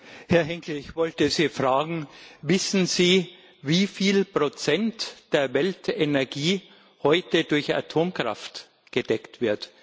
Herr Henkel, ich wollte Sie fragen Wissen Sie, wie viel Prozent der Weltenergie heute durch Atomkraft gedeckt wird?